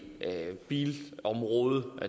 bilområde